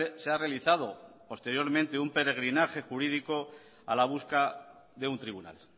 se ha realizado posteriormente un peregrinaje jurídico a la busca de un tribunal